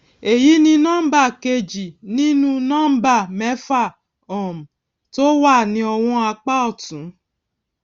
èyí ni nọmbà kejì nínú nọmbà mẹfà um tó wà ní ọwọn apá òtún